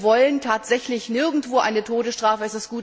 Wir wollen tatsächlich nirgendwo eine Todesstrafe.